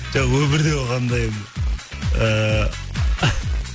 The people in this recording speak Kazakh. жоқ өмірде болғанда енді ыыы